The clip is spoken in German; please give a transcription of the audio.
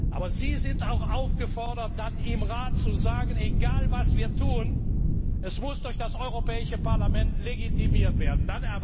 Aber Sie sind auch aufgefordert, dann im Rat zu sagen Egal, was wir tun, es muss durch das Europäische Parlament legitimiert werden.